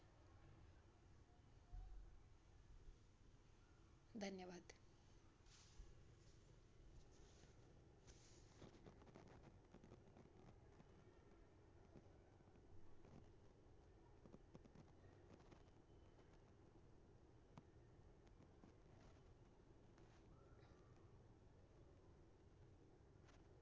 धन्यवाद!